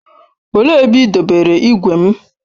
Olee ebe ị dobere igwe m?